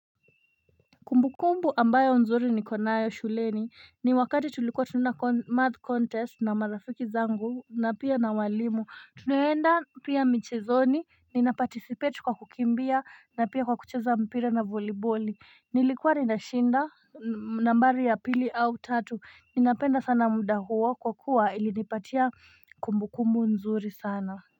Kumbukumbu ambayo nzuri ni konayo shuleni ni wakati tulikuwa tununa math contest na marafiki zangu na pia na walimu tuneenda pia michezoni nina participate kwa kukimbia na pia kwa kucheza mpira na volibo Nilikuwa nindashinda nambari ya pili au tatu ninapenda sana muda huo kwa kuwa ilinipatia kumbukumbu nzuri sana.